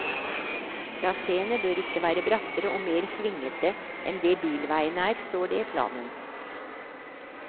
Traséene bør ikke være brattere og mer svingete enn det bilveien er, står det i planen.